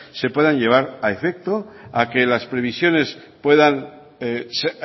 se puedan llevar a efecto a que las previsiones